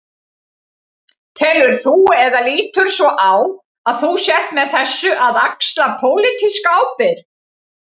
Telur þú, eða lítur svo á að þú sért með þessu að axla pólitíska ábyrgð?